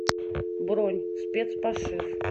бронь спецпошив